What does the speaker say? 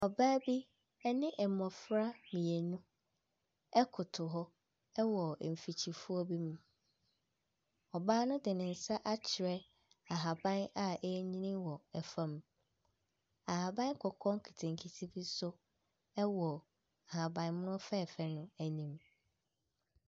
Ɔbaa bi ɛne mmɔfra mienu ɛkoto hɔ ɛwɔ mfikyifuo bi mu, ɔbaa no de ne nsa akyerɛ ahaban a ɛɛnyini ɛwɔ ɛfɔm. Ahaban kɔkɔɔ nketenkete bi nso ɛwɔ ahabammono fɛɛfɛ no anim.